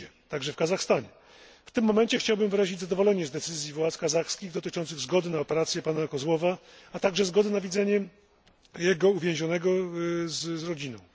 Nigdzie, także w Kazachstanie. W tym momencie chciałbym wyrazić zadowolenie z decyzji władz kazachskich dotyczącej zgody na operację pana Kozłowa, a także zgody na widzenie uwięzionego z rodziną.